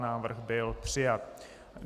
Návrh byl přijat.